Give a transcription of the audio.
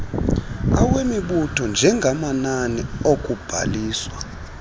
awemibutho njengamanani okubhaliswa